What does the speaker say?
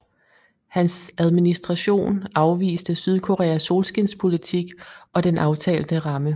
Hans administration afviste Sydkoreas solskinspolitik og den aftalte ramme